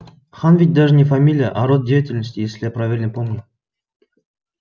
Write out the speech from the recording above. хан ведь даже не фамилия а род деятельности если я правильно помню